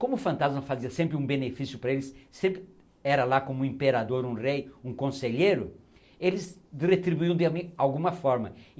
Como o fantasma fazia sempre um benefício para eles, sempre era lá como um imperador, um rei, um conselheiro, eles retribuíam de alguma forma.